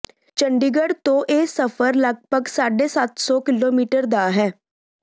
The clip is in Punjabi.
ਚੰਡੀਗੜ੍ਹ ਤੋਂ ਇਹ ਸਫ਼ਰ ਲਗ ਪਗ ਸਾਢੇ ਸਤ ਸੌ ਕਿਲੋਮੀਟਰ ਦਾ ਹੈ